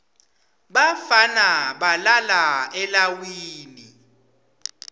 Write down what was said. bafana balala eleiwini